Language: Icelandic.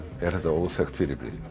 er þetta óþekkt fyrirbrigði